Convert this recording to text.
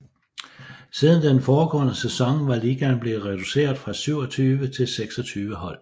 Siden den foregående sæson var ligaen blevet reduceret fra 27 til 26 hold